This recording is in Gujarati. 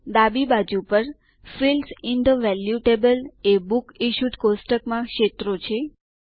ડાબી બાજુ પર fields in the value table a books issued કોષ્ટકમાં ક્ષેત્રો છે